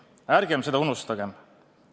Ärgem seda unustagem!